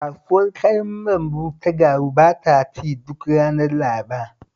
Kasuwar Kayan lambu ta Garu taba ci duk ranar Laraba